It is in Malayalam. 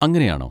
അങ്ങനെയാണോ?